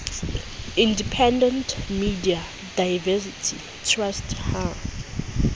independent media diversity trust ha